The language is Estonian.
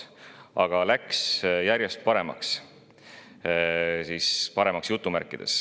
Aga läks järjest "paremaks".